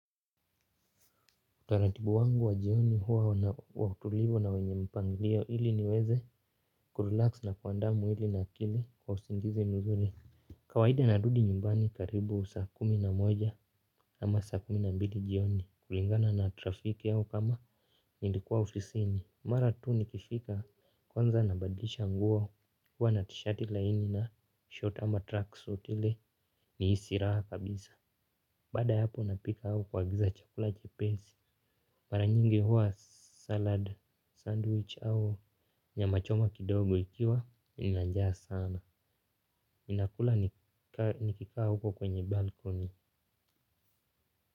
Utaratibu wangu wa jioni huwa wakutulia na wenye mpanglio ili niweze kurelax na kuandaa mwili na akili kwa usingizi mzuri. Kawaida narudi nyumbani karibu saa kumi na moja ama saa kumi na mbili jioni kulingana na trafiki au kama nilikuwa ofisini. Mara tu nikifika kwanza nabadilisha nguo huwa na tishati laini na short ama tracksuit ili nihisi raha kabisa. Baada ya hapo napika au kuagiza chakula chepesi. Mara nyingi huwa salad sandwich au nyamachoma kidogo ikiwa nina njaa sana ninakula nikikaa huko kwenye balcony.